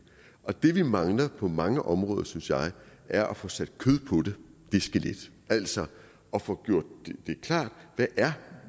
og det vi mangler på mange områder synes jeg er at få sat kød på det skelet altså at få gjort det klart hvad